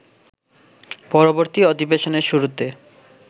পরবর্তী অধিবেশনের শুরুতে